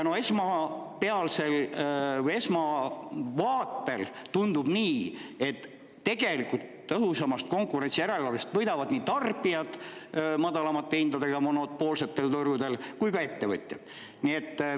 Esmavaatel tundub nii, et tõhusamast konkurentsijärelevalvest võidavad nii tarbijad, kuna monopoolsetel turgudel tekivad madalamad hinnad, kui ka ettevõtjad.